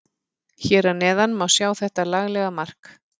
Hér að neðan má sjá þetta laglega mark.